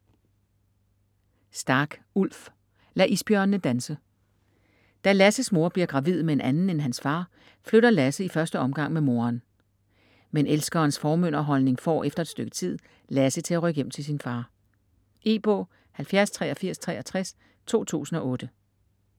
Stark, Ulf: Lad isbjørnene danse Da Lasses mor bliver gravid med en anden end hans far, flytter Lasse i første omgang med moderen. Men elskerens formynderholdning får - efter et stykke tid - Lasse til at rykke hjem til sin far. E-bog 708363 2008.